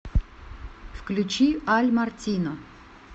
включи аль мартино